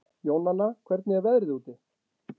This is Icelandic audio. Jónanna, hvernig er veðrið úti?